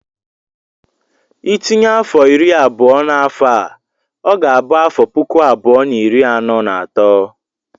Ị tinye afọ iri abụọ na afọ a, ọ ga-abụ afọ puku abụọ na iri anọ na atọ.